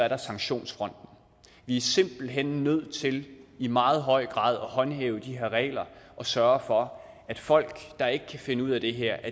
er sanktionsfronten vi er simpelt hen nødt til i meget høj grad at håndhæve de her regler og sørge for at folk der ikke kan finde ud af det her